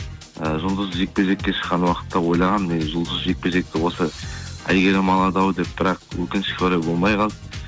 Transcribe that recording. ы жұлдызды жекпе жекке шыққан уақытта ойлағанмын негізі жұлдызды жекпе жекті осы әйгерім алады ау деп бірақ өкінішке орай болмай қалды